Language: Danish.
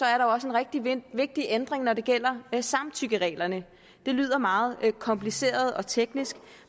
er der også en rigtig vigtig ændring når det gælder samtykkereglerne det lyder meget kompliceret og teknisk